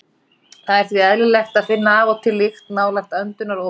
Það er því eðlilegt að finna af og til lykt nálægt öndunaropunum.